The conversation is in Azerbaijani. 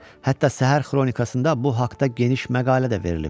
Hətta səhər xronikasında bu haqda geniş məqalə də verilib.